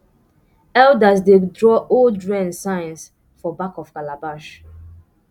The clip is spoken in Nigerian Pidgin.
elders dey draw old rain signs for back of calabash